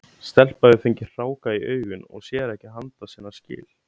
Stelpa hefur fengið hráka í augun og sér ekki handa sinna skil.